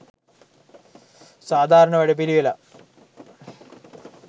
සාධාරණ වැඩපිළිවෙලක්.